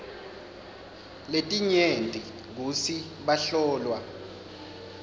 letinyenti kutsi bahlolwa